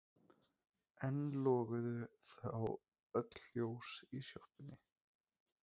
Enn loguðu þó öll ljós í sjoppunni.